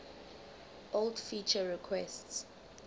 old feature requests